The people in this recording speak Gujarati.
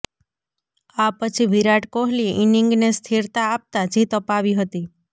આ પછી વિરાટ કોહલીએ ઈનિંગને સ્થિરતાં આપતાં જીત અપાવી હતી